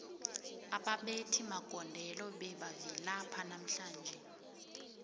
ababethi magondelo bebavilapha namhlanje